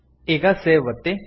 ಈಗ ಸೇವ್ ಒತ್ತಿ